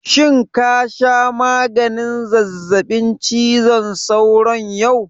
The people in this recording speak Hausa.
Shin ka sha maganin zazzaɓin cizon sauron yau?